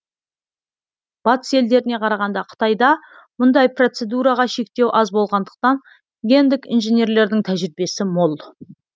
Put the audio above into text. батыс елдеріне қарағанда қытайда мұндай процедураға шектеу аз болғандықтан гендік инженерлердің тәжірибесі мол